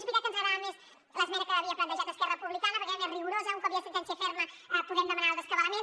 és veritat que ens agradava més l’esmena que havia plantejat esquerra republicana perquè era més rigorosa un cop hi ha sentència ferma podem demanar el rescabalament